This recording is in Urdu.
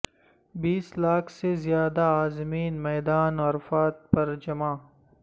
بیس لاکھ سے زیادہ عازمین میدان عرفات پر جمع